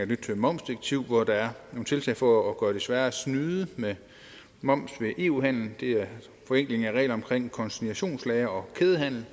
nyt momsdirektiv hvor der er nogle tiltag for at gøre det sværere at snyde med moms ved eu handel det er forenkling af reglerne om konsignationslagre og kædehandel